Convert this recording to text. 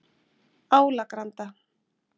Álagranda